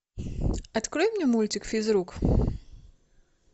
открой мне мультик физрук